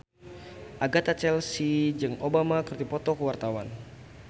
Agatha Chelsea jeung Obama keur dipoto ku wartawan